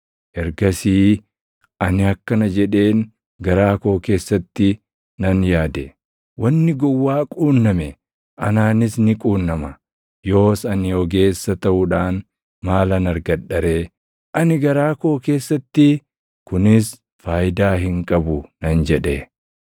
Ergasii ani akkana jedheen garaa koo keessatti nan yaade; “Wanni gowwaa quunname, anaanis ni quunnama; yoos ani ogeessa taʼuudhaan maalan argadha ree?” Ani garaa koo keessatti, “Kunis faayidaa hin qabu” nan jedhe.